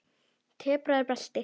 Temprað belti.